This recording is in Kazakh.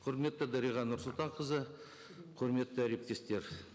құрметті дариға нұрсұлтанқызы құрметті әріптестер